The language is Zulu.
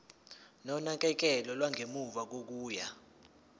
nonakekelo lwangemuva kokuya